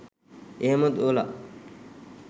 එහෙම දුවලා